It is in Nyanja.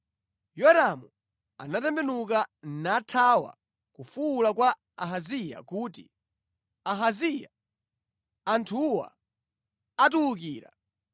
Yoramu anatembenuka, nathawa akufuwula kwa Ahaziya kuti, “Ahaziya, anthuwa atiwukira!”